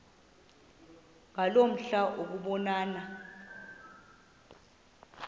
ngaloo mihla ukubonana